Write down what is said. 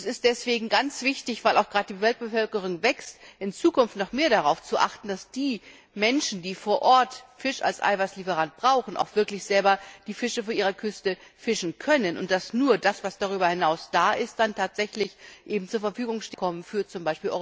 Und es ist deswegen ganz wichtig, weil auch die Weltbevölkerung wächst, in Zukunft noch mehr darauf zu achten, dass die Menschen, die vor Ort Fisch als Eiweißlieferanten brauchen, auch wirklich selber die Fische vor ihrer Küste fangen können und dass nur das, was darüber hinaus da ist, dann im Rahmen von Fischereiabkommen für z.